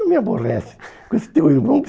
Não me aborrece com esse teu irmão.